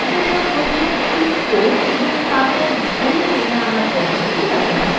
এরজন্য প্রথমে click করে এবং তারপর ধরে টেনে আনার পদ্ধতিটি ব্যবহার করতে হবে